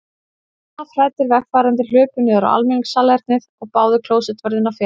Lafhræddir vegfarendur hlupu niður á almenningssalernið og báðu klósettvörðinn að fela sig.